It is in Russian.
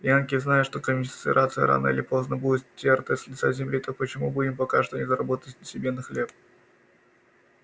янки знают что конфедерация рано или поздно будет стёрта с лица земли так почему бы им пока что не заработать себе на хлеб